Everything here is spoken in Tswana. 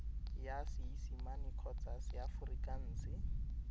ya seesimane kgotsa ya seaforikanse